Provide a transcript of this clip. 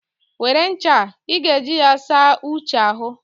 Were ncha a, ị ga-eji ya saa Uche ahụ.